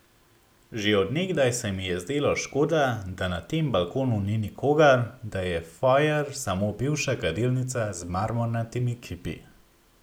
Že od nekdaj se mi je zdelo škoda, da na tem balkonu ni nikogar, da je fojer samo bivša kadilnica z marmornatimi kipi.